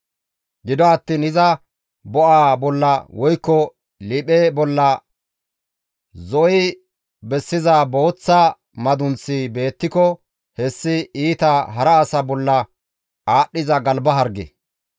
Gido attiin iza bo7aa bolla woykko liiphe bolla zo7i bessiza booththa madunththi beettiko hessi iita hara asa bolla aadhdhiza galba harge.